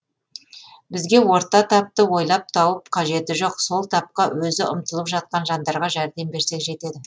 бізге орта тапты ойлап тауып қажеті жоқ сол тапқа өзі ұмтылып жатқан жандарға жәрдем берсек жетеді